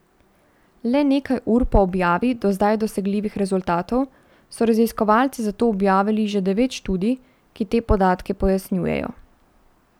Le nekaj ur po objavi do zdaj dosegljivih rezultatov so raziskovalci zato objavili že devet študij, ki te podatke pojasnjujejo.